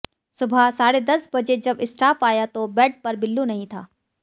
सुबह साढ़े दस बजे जब स्टाफ आया तो बेड पर बिल्लू नहीं था